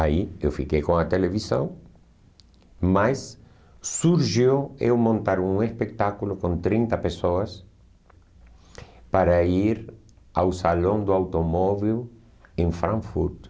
Aí eu fiquei com a televisão, mas surgiu eu montar um espetáculo com trinta pessoas para ir ao Salão do Automóvel em Frankfurt.